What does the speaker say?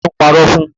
Ta ló ń parọ́ fún?